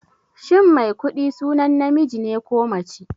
Shin Maikuɗi sunan namiji ne ko mace?